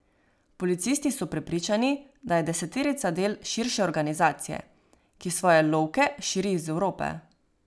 Policisti so prepričani, da je deseterica del širše organizacije, ki svoje lovke širi iz Evrope.